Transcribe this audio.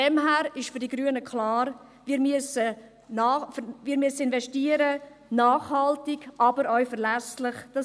Daher ist für die Grünen klar: Wir müssen nachhaltig, aber auch verlässlich investieren.